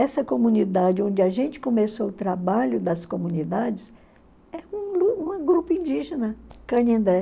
Essa comunidade onde a gente começou o trabalho das comunidades grupo indígena, Kanindé.